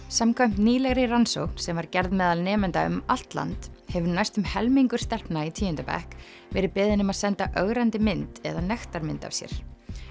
samkvæmt nýlegri rannsókn sem var gerð meðal nemenda um allt land hefur næstum helmingur stelpna í tíunda bekk verið beðinn um að senda ögrandi mynd eða nektarmynd af sér